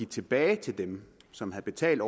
tilbage til dem som havde betalt